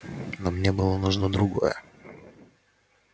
но мне было нужно другое